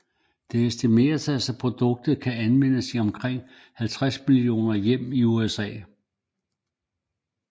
Det estimeres at produktet kan anvendes i omkring 50 millioner hjem i USA